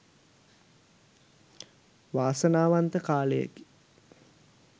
වාසනාවන්ත කාලයකි